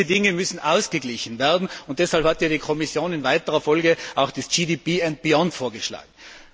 Diese Dinge müssen ausgeglichen werden, und deshalb hat ja die Kommission in weiterer Folge auch das GDP and beyond vorgeschlagen.